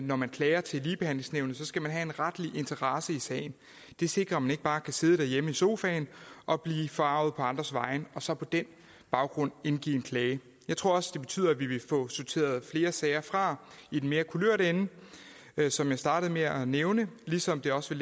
når man klager til ligebehandlingsnævnet skal have en retlig interesse i sagen det sikrer at man ikke bare kan sidde derhjemme i sofaen og blive forarget på andres vegne og så på den baggrund indgive en klage jeg tror også at det betyder at vi vil få sorteret flere sager fra i den mere kulørte ende som jeg startede med at nævne ligesom det også